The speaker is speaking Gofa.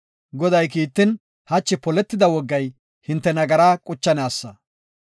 Goday kiittin hachi poletida wogay hinte nagaraa quchanaasa.